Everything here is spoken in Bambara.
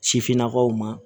Sifinnakaw ma